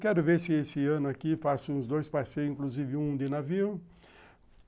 Quero ver se esse ano aqui faço uns dois passeios, inclusive um de navio.